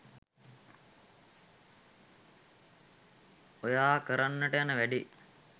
ඔයා කරන්න යන වැඬේ